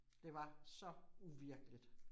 Det var så uvirkeligt